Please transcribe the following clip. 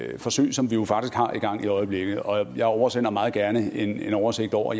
forsøg som vi jo faktisk har i gang i øjeblikket og jeg oversender meget gerne en oversigt over